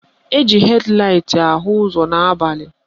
Eji hed laịt ahụ ụzọ n'abalị.